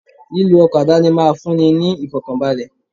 Lílọ ọkọ̀ àdáni máa fún ní ìfọ̀kànbalè.